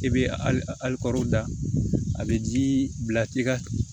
I bɛ alikɔri da a bɛ ji bila i ka